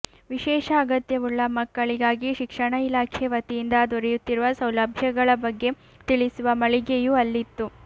ವಿಶೇಷ ಅಗತ್ಯವುಳ್ಳ ಮಕ್ಕಳಿಗಾಗಿ ಶಿಕ್ಷಣ ಇಲಾಖೆ ವತಿಯಿಂದ ದೊರೆಯುತ್ತಿರುವ ಸೌಲಭ್ಯಗಳ ಬಗ್ಗೆ ತಿಳಿಸುವ ಮಳಿಗೆಯೂ ಅಲ್ಲಿತ್ತು